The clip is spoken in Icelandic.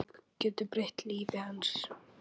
Bók getur breytt lífi manns.